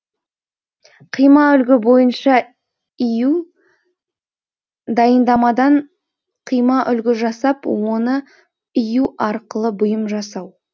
қимаүлгі бойынша ию дайындамадан қимаүлгі жасап оны ию арқылы бұйым жасау